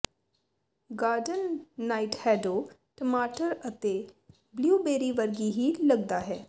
garden nightshade ਟਮਾਟਰ ਅਤੇ blueberry ਵਰਗੀ ਹੀ ਲਗਦਾ ਹੈ